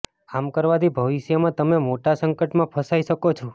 આમ કરવાથી ભવિષ્યમાં તમે મોટા સંકટમાં ફસાઈ શકો છો